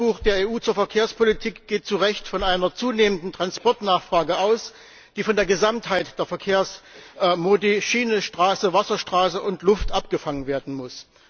Das Weißbuch der EU zur Verkehrspolitik geht zu Recht von einer zunehmenden Transportnachfrage aus, die von der Gesamtheit der Verkehrsmodi Schiene, Straße, Wasserstraße und Luft abgefangen werden muss.